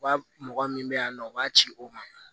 Wa mɔgɔ min bɛ yan nɔ u b'a ci o ma